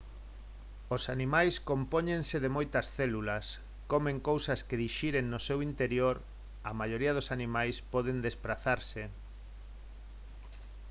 os animais compóñense de moitas células comen cousas que dixiren no seu interior a maioría dos animais poden desprazarse